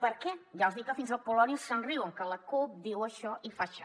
per què ja els dic que fins al polònia se’n riuen que la cup diu això i fa aixà